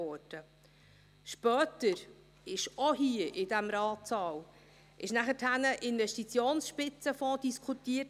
Später wurde, auch hier in diesem Ratssaal, der Investitionsspitzenfonds diskutiert.